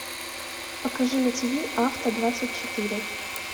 покажи на тв авто двадцать четыре